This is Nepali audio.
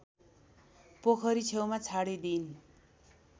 पोखरी छेउमा छाडिदिइन्